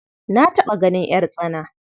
Na taɓa ganin ƴartsana.